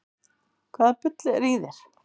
Hvaða bull er í þér?